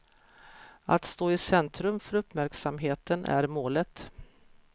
Att stå i centrum för uppmärksamheten är målet.